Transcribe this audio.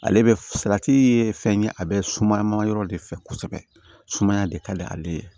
Ale bɛ salati ye fɛn ye a bɛ suma ma yɔrɔ de fɛ kosɛbɛ sumaya de ka di ale ye